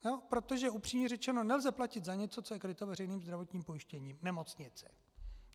Protože upřímně řečeno nelze platit za něco, co je kryto veřejným zdravotním pojištěním nemocnice.